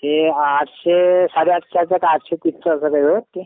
ते आठशे साडे आठशे का आठशे तीस